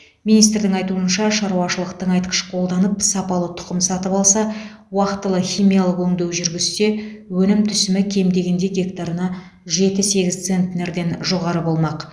министрдің айтуынша шаруашылық тыңайтқыш қолданып сапалы тұқым сатып алса уақтылы химиялық өңдеу жүргізсе өнім түсімі кем дегенде гектарына жеті сегіз центнерден жоғары болмақ